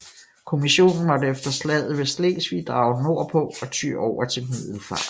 Kommissionen måtte efter Slaget ved Slesvig drage nord på og ty over til Middelfart